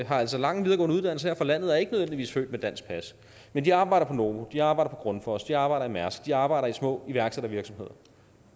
har altså lange videregående uddannelser her fra landet og er ikke nødvendigvis født med dansk pas men de arbejder på novo de arbejder på grundfos de arbejder i mærsk de arbejder i små iværksættervirksomheder